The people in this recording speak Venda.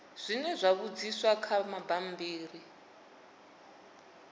zwe zwa vhudziswa kha bammbiri